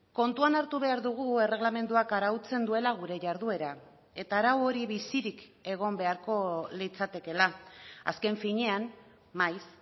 kontuan hartu behar dugu erregelamenduak arautzen duela gure jarduera eta arau hori bizirik egon beharko litzatekela azken finean maiz